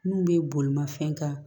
N'u bɛ bolimafɛn kan